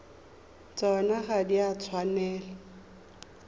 tsona ga di a tshwanela